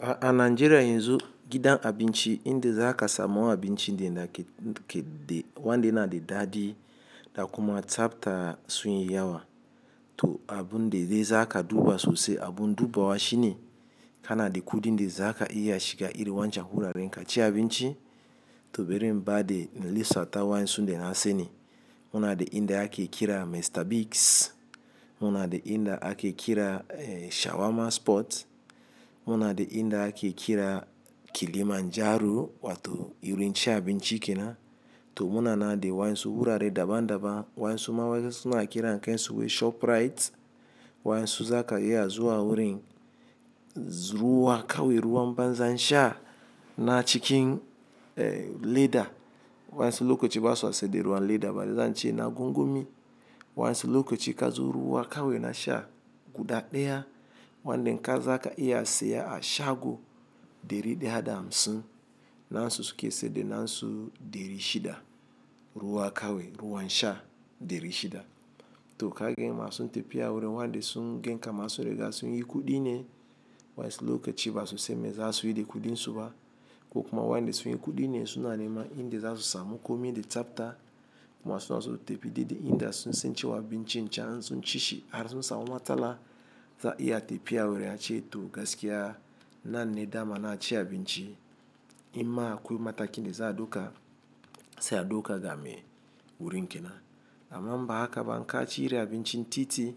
A, a Najeriya yanzu gidan abinci inda za ka samu abinci de na ke-ke de, wanda yana da daɗi, da kuma tsabta sun yi yawa. To, abun de zai zaka duba sosai, abun duba wa shi ne, kana da kuɗi inda za ka iya shiga iri wancan wuraren kaciya abinci. To, bari in ba de lissafi wa in sun da na sani. Muna da inda ake kira Mr Biggs, muna da inda ake kira, eh, Shawarma Spot, muna de inda ake kira Kilimanjaro, wato wurin cin abinci kena. To, muna nan da wa ensu wurare daban-daban wa'yan suma suna kiran kansu wai ShopRite. Wayan su za ka iya zuwa wurin, zuwa ka wai ruwan banza sha na cikin, eh, leda. Wayan su lokaci ba su aske da ruwan leda bari zan ce na gungumi. Wayan su lokaci ka zo ruwa ka wai na sha guda ɗaya, wanda in za ka iya siya a shago ɗari daya da hamsin. Nasu su ke saida na su ɗari shida. Ruwa kawai ruwan sha ɗari shida. To, ka gani masu tafiya wurin wanda sun gan kaman su riga sun yi kuɗi ne. Wa'yan su lokaci ba su sanme za suyi da kuɗin su ba. Ko kuma wanda sun yi kuɗi ne suna neman inda za su samu komai de tsabta. Masu so ya tafiya daidai inda sun sance wa abinci can in sun ci shi har sun samu matsala, za a iya tafiya wurin ace to gaskiya nan ne dama na ci abinci. In ma akwai mataki da za a ɗauka, sai a ɗauka game wurin kena. Amma inba haka ba, in ka ci iri abinci titi,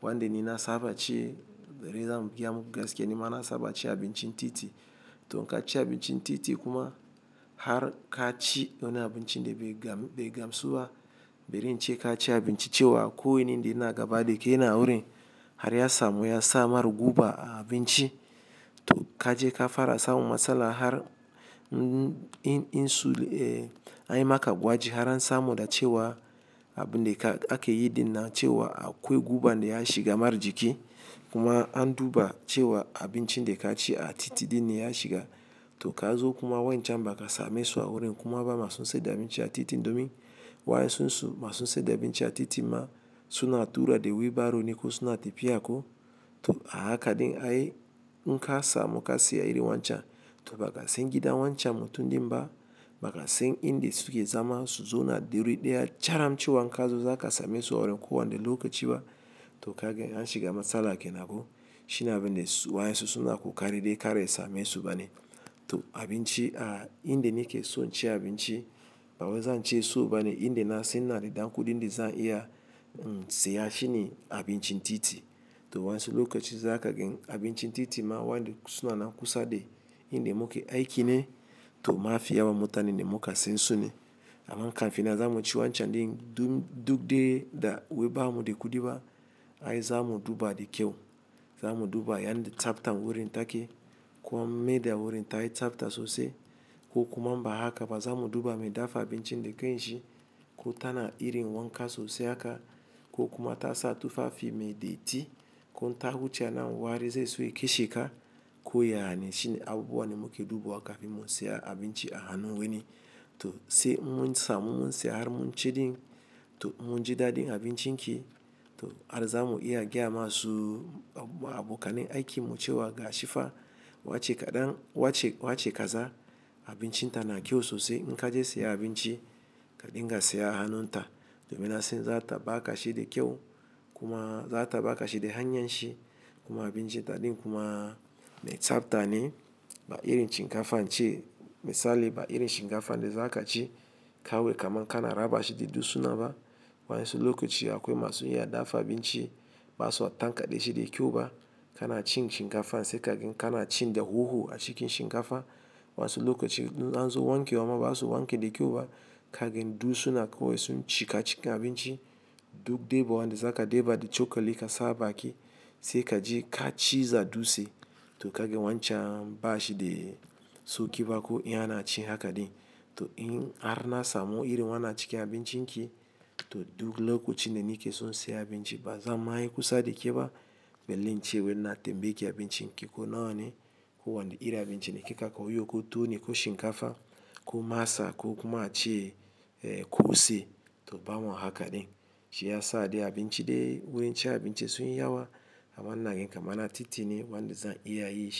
wanda ni na saba ci, bari zan gayamuku gaske nima na saba cin abinci titi. To, inka ci abincin titi kuma har ka ci wani abinci de bai gam-bai gamsu ba, bari in ce ka ci abinci cewa akwai wani da yana gaba da kai ne a wurin, har ya samu ya sa mar guba a abinci. To, ka je ka fara samu matsala har in-in su, eh, an yi maka gwaji har an samu da cewa abun de ka ake yi dina cewa akwai guba da ya shiga mar jiki. Kuma an duba cewa abinci de ka ci a titi din ne ya shiga. To, ka zo kuma wancan ba ka same su a wurin kuma ba masu sa da abinci a titi domin wayan sun su masu sai da abinci a titi ma suna tura de wheelbarrow ne ko suna tafiya ko. To, a haka din ai in ka samu ka siya iri wancan. To, ba ka san gidan wancan mutun din ba, ba ka san inda suke zama su zo na derin da ya charam ce wa inka zo za ka same su a wurin ko wani lokaci ba. To, ka gan an shiga matsala ke nan ko. Shi ne abin da wayan su suna ƙoƙari kar ya same su bane. To, abinci a inda ni ke so in ci abinci, bawai zan ce so bane inda na san ina da dan kuɗin da zan iya, siya shi ne abinci titi. To, wayan su lokaci za ka gan abincin titi ma wanda suna nan kusa da inda muke aiki ne. To, ma fi yawan mutane da muka san su ne. Amma kan fi nan zamu ci wancan din duk de da wai bamu da kuɗi ba, ai zamu duba da kyau. Zamu duba yan da tsabtan wurin take, ko mai da wurin ta yi tsabta sosai. Ko kuma in ba haka ba zamu duba me dafa abincin da kanshi. Ko tana irin wanka sosai haka. Ko kuma ta sa tufafi me datti. Ko in ta wuce anan wari zai so ya keshe ka. Ko ya ne, shine abubuwan da muke dubawa kafin mu siya abinci a hannun wani. To, sai in mun samu mun siya har mun ci ɗin. To, in mun ji daɗin abincin ki, to, har zamu iya gayama su abokanin aiki mu cewa ga shifa, wace kaɗan, wace, wace kaza, abinci ta na kyau sosai in ka je siyan abinci ka dinga siya a hannun ta. Domin na san zata ba ka shi da kyau, kuma zata ba ka shi da hanyar shi. Kuma abinci ta ɗin kuma mai tsabta ne. Ba irin shinkafa, in ce misali, ba irin shinkafan de za ka ci kawai kaman ka na raba shi da dutsuna ba. Waƴan su lokaci akwai masu iya dafa abinci, ba swa tankaɗe shi da kyau ba. Kana cin shinkafan sai ka gan kana cin da huhu a cikin shinkafa. Wa'an su lokaci in an zo wanke wa ma ba zasu wanke da kyau ba. Ka gan dutsuna kawai sun cika cikin abinci, duk dai ba wanda za ka deba da cokali ka sa a baki. Sai kaji ka ciza dutse. To, ka gan wancan bashi de sauƙi ba ko in ana ci haka ɗin. To, in har na samu irin wannan cikin abincin ki, to duk lokacin da nike son siya abinci ba zan ma yi kusa da ke ba. Belle in ce wai ina tambayeki abincin ki ko nawa ne. Ko wani irin abinci ne kika kawo yau, ko tuwo ne ko shinkafa, ko masa ko kuma a ce, eh, kose. To, ba ma haka ɗin. Shi yasa dai abinci de, wurin cin abinci sun yi yawa. Amma ina gan kamar na titi ne wanda za'a iya yinshi.